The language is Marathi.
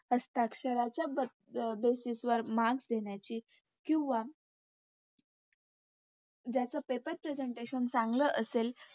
हस्ताक्षराच्या Basis वर Marks देण्याची किंवा ज्याचं Paepr Presentation चांगलं असेल